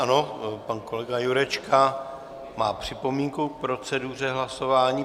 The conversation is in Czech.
Ano, pan kolega Jurečka má připomínku k proceduře hlasování.